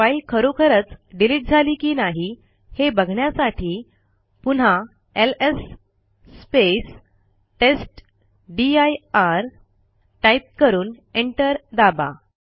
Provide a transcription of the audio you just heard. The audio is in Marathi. फाईल खरोखरच डिलिट झाली की नाही हे बघण्यासाठी पुन्हा एलएस टेस्टदीर टाईप करून एंटर दाबा